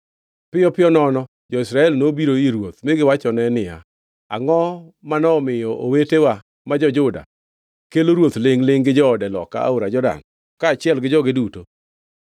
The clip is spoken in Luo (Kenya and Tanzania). Piyo piyo nono jo-Israel nobiro ir ruoth mi giwachone niya, “Angʼo manomiyo owetewa ma jo-Juda, kelo ruoth lingʼ-lingʼ gi joode loka aora Jordan, kaachiel gi joge duto?”